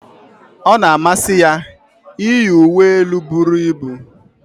ọ na-amasị ya iyi uwe elu buru ibu